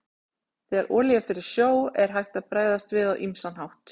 Þegar olía fer í sjó er hægt að bregðast við á ýmsan hátt.